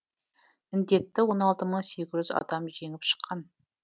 індетті он алты мың сегіз жүз адам жеңіп шыққан